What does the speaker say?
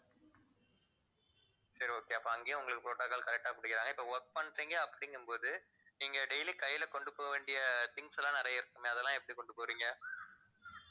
சரி okay அப்ப அங்கயும் உங்களுக்கு protocol correct ஆ பிடிக்கிறாங்க இப்ப work பண்றீங்க அப்படிங்கும்போது நீங்க daily கையில கொண்டு போகவேண்டிய things எல்லாம் நிறைய இருக்குமே அதெல்லாம் எப்படி கொண்டு போறீங்க